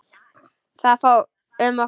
Það fór um okkur.